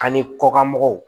Ani kɔkanmɔgɔw